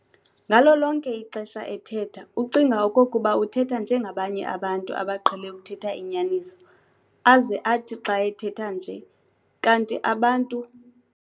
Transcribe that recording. Ngalo lonke ixesha ethetha ucinga okokuba uthetha njengabanye abantu abaqhele ukuthetha inyaniso, aze athi xa ethetha nje, kanti abantu.